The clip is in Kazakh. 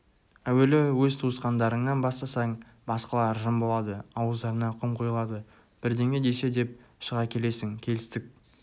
әуелі өз туысқандарыңнан бастасаң басқалар жым болады ауыздарына құм құйылады бірдеңе десе деп шыға келесің келістік